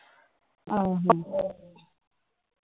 ਆਹੋ